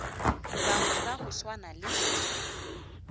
bangwe ba go swana le